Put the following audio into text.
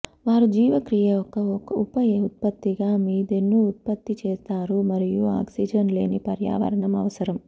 వారు జీవక్రియ యొక్క ఉప ఉత్పత్తిగా మీథేన్ను ఉత్పత్తి చేస్తారు మరియు ఆక్సిజన్ లేని పర్యావరణం అవసరం